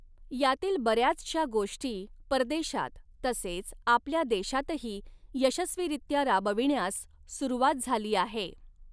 यातील बऱ्याचशा गोष्टी परदेशात तसेच आपल्या देशातही यशस्वीरीत्या राबविण्यास सुरवात झाली आहे.